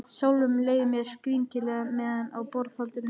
Sjálfum leið mér skrýtilega meðan á borðhaldinu stóð.